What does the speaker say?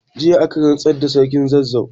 Jiya aka rantsar da Sarkin Zazzau.